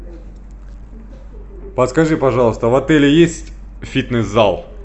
подскажи пожалуйста в отеле есть фитнес зал